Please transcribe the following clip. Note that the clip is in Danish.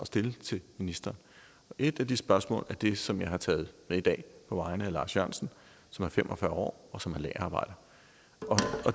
stille til ministeren et af de spørgsmål er det som jeg har taget med i dag på vegne af lars jørgensen som er fem og fyrre år og som er lagerarbejder